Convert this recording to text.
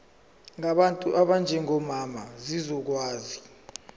ngabantu abanjengomama zizokwazi